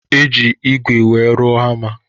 Eji ìgwè wee rụọ hama